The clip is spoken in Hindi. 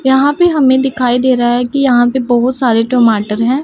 यहां पे हमें दिखाई दे रहा है कि यहां पे बहुत सारे टमाटर हैं।